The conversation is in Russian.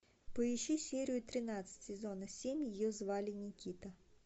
поищи серию тринадцать сезона семь ее звали никита